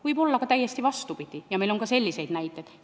Võib olla täiesti vastupidi, meil on ka selliseid näiteid.